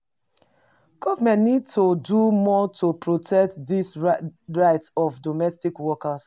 Government need to do more to protect di rights of domestic workers.